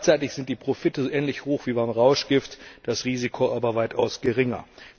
Gleichzeitig sind die Profite ähnlich hoch wie beim Rauschgift, das Risiko aber ist weitaus geringer.